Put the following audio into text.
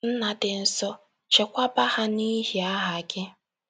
Nna dị nsọ, chekwaba ha n’ihi aha gị. ”